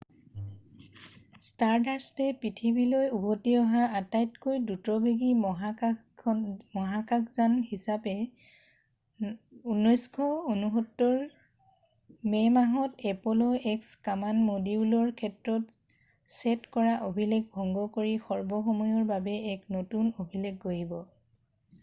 ষ্টাৰডাষ্টে পৃথিৱীলৈ উভতি অহা আটাইতকৈ দ্ৰুতবেগী মহাকাশযান হিচাপে 1969ৰ মে' মাহত এপল' এক্স কামাণ্ড মডিউলৰ ক্ষেত্ৰত ছেট কৰা অভিলেখ ভংগ কৰি সৰ্বসময়ৰ বাবে এক নতুন অভিলেখ গঢ়িব